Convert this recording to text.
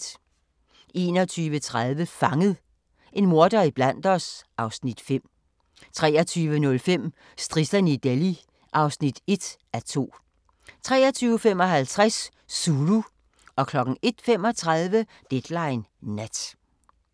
21:30: Fanget – en morder iblandt os (Afs. 5) 23:05: Strisserne i Delhi (1:2) 23:55: Zulu 01:35: Deadline Nat